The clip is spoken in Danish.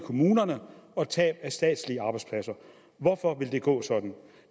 i kommunerne og tab af statslige arbejdspladser hvorfor vil det gå sådan